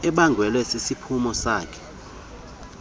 ebangelwe sisiphumo sako